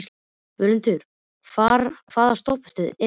Völundur, hvaða stoppistöð er næst mér?